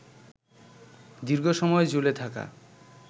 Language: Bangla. দীর্ঘসময় ঝুলে থাকা